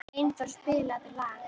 Einþór, spilaðu lag.